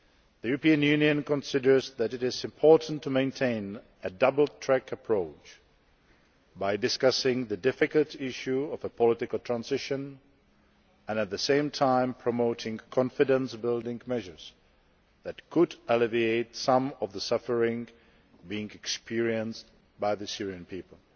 The European Union considers that it is important to maintain a double track approach by discussing the difficult issue of a political transition and at the same time promoting confidence building measures that could alleviate some of the suffering being experienced by the Syrian people.